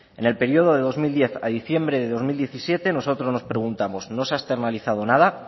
en el periodo de dos mil diez a diciembre de dos mil diecisiete nosotros preguntamos no se ha externalizado nada